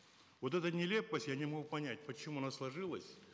вот эта нелепость я не могу понять почему она сложилась